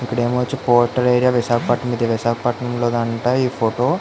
ఇక్కడ వచ్చి portal area Visakhapatnam అంట ఇది విశాఖపట్నానం లోది అంట ఈ ఫోటో .